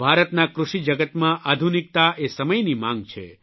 ભારતના કૃષિજગતમાં આધુનિકતા એ સમયની માંગ છે